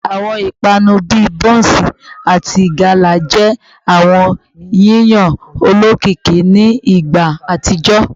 Awọn ipanu bii bonsi ati gala jẹ awọn yiyan olokiki ni igba atijọ